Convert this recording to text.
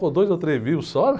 Ficou dois ou três vivos, só?